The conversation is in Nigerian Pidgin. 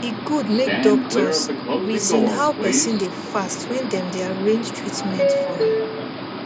e good make doctors reason how person dey fast when dem dey arrange treatment for am